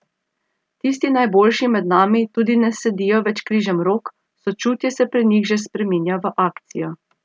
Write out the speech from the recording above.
Tisti najboljši med nami tudi ne sedijo več križem rok, sočutje se pri njih že spreminja v akcijo.